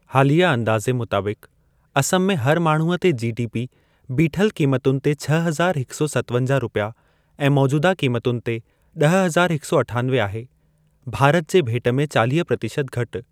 हालिया अंदाज़े मुताबिक़, असम में हर माण्हूअ ते जीडीपी बिठल कीमतुनि ते छह हज़ार हिक सौ सत्तवंजा रुपया ऐं मौजूदा कीमतुनि ते ॾह हज़ार हिक सौ अठानवे आहे; भारत जे भेट में चालिह प्रतिशत घटि।